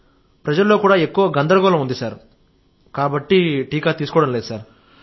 ప్రజలలో ఎక్కువ గందరగోళం ఉంది కాబట్టి తీసుకోవడం లేదు సార్